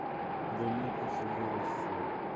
да у меня просто голос сел